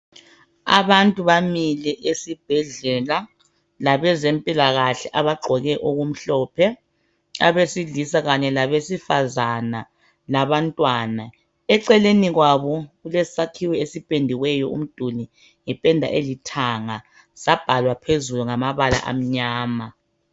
Abantu bamile esibhedlela labazempilakahle abagqoke okumhlophe, abasilisa kanye labesifazana labantwana. Eceleni kwabo kulesakhiwo esipendiweyo umduli ngependa elithanga, sabalwa phezulu ngamabala amnyama.